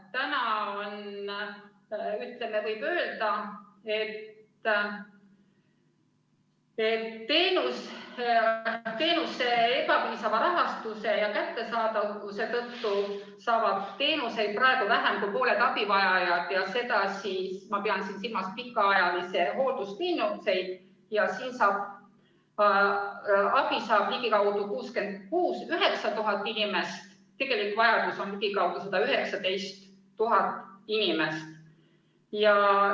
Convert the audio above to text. Võib öelda, et teenuste ebapiisava rahastuse ja kättesaadavuse tõttu saavad teenuseid praegu vähem kui pooled abivajajad, ma pean silmas pikaajalise hoolduse teenuseid, ja abi saab ligikaudu 69 000 inimese, tegelik vajadus on aga ligikaudu 119 000 inimest.